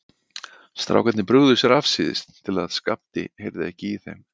Strákarnir brugðu sér afsíðis til að Skapti heyrði ekki í þeim.